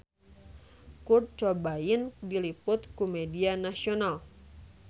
Kurt Cobain diliput ku media nasional